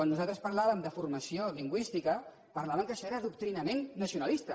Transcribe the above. nosaltres parlàvem de formació lingüística parlaven que això era adoctrinament nacionalista